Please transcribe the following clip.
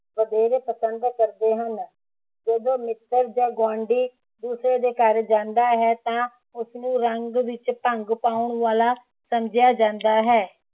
ਵਧੇਰੇ ਪਸੰਦ ਕਰਦੇ ਹਨ ਜਦੋ ਮਿੱਤਰ ਜਾਂ ਗੁਆਂਢੀ ਦੂਸਰੇ ਦੇ ਘਰ ਜਾਂਦਾ ਹੈ ਤਾਂ ਉਸਨੂੰ ਰੰਗ ਵਿਚ ਭੰਗ ਪਾਉਣ ਵਾਲਾ ਸਮਝਿਆ ਜਾਂਦਾ ਹੈ